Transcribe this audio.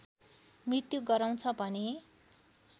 मृत्यु गराउँछ भने